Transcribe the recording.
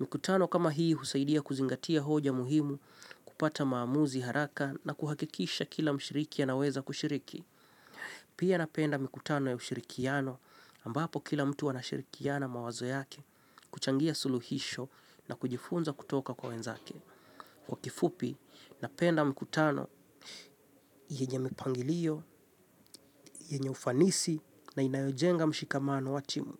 Mikutano kama hii husaidia kuzingatia hoja muhimu kupata maamuzi haraka na kuhakikisha kila mshiriki anaweza kushiriki. Pia napenda mikutano ya ushirikiano ambapo kila mtu anashirikiana mawazo yake kuchangia suluhisho na kujifunza kutoka kwa wenzake. Kwa kifupi napenda mkutano yenye mipangilio, yenye ufanisi na inayojenga mshikamano wa timu.